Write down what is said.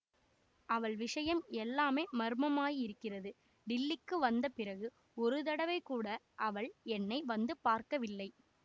அவள் விஷயம் எல்லாமே மர்மமாயிருக்கிறது டில்லிக்கு வந்த பிறகு ஒரு தடவை கூட அவள் என்னை வந்து பார்க்கவில்லை